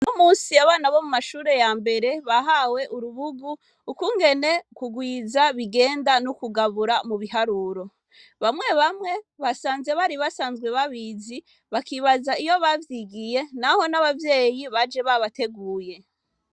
n'umunsi abana bo mumashure yambere bahawe urubugu ukungene kugwiza bigenda nukugabura mu biharuro bamye bamye basanze bari basanzwe babizi bakibaza aho bavyigiye naho nabavyeyi baje babateguye